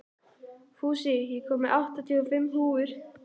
Fúsi, ég kom með áttatíu og fimm húfur!